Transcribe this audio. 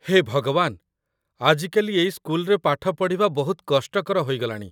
ହେ ଭଗବାନ, ଆଜିକାଲି ଏଇ ସ୍କୁଲରେ ପାଠ ପଢ଼ିବା ବହୁତ କଷ୍ଟକର ହୋଇଗଲାଣି।